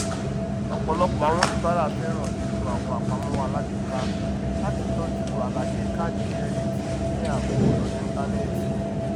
ọpọlọpọ àwọn oníbàárà fẹràn lílo àwọn apàmọwọ alágbèéká láti tọju àlàyé kàádì kìrẹdìtì ní ààbò lórí ìntánẹẹtì